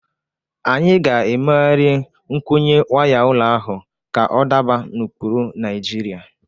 Anyị ga-megharị nkwụnye waya ụlọ ahụ ka ọ daba n’ụkpụrụ Naijiria.